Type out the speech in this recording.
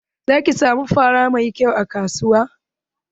Zaki samu fara mai kyau a kasuwa.